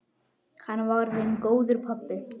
Hann var þeim góður pabbi.